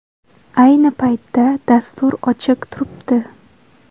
Ayni paytda dastur ochiq turibdi.